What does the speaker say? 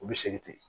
U bɛ segin ten